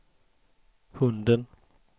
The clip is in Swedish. hunden